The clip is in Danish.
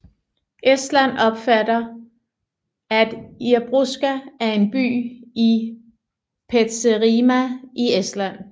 Estland opfatter at Irboska er en by i Petserimaa i Estland